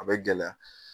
A bɛ gɛlɛya